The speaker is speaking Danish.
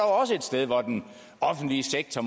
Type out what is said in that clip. også et sted hvor den offentlige sektor